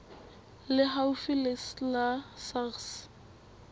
le haufi le la sars